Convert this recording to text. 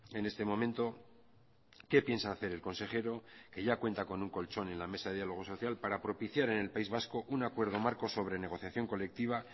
en este momento qué piensa hacer el consejero que ya cuenta con un colchón en la mesa de diálogo social para propiciar en el país vasco un acuerdo marco sobre negociación colectiva